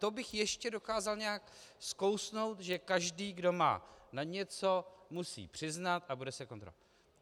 To bych ještě dokázal nějak skousnout, že každý, kdo má na něco, musí přiznat a bude se kontrolovat.